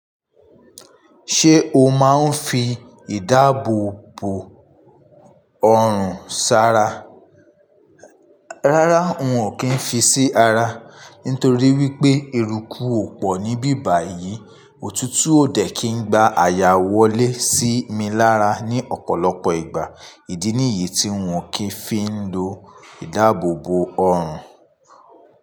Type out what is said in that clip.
Ṣé o máa ń fi ìdáàbòbò ọrùn s'ara? Rárá, n ò kí ń fi sí ara. Nítorí wípé, eruku ò pọ̀ ní bíbà yìí, òtútù ò dẹ̀ kí ń gba àyà wọlé sí mi lára ní ọ̀pọ̀lọpọ̀ ìgbà. Ìdí nìyí tí n ò kí ń fi ń lo ìdáàbòbò ọrùn.